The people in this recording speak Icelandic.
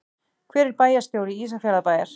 Hver er bæjarstjóri Ísafjarðarbæjar?